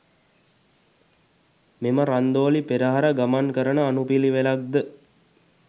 මෙම රන්දෝලි පෙරහර ගමන් කරන අනුපිළිවෙලක් ද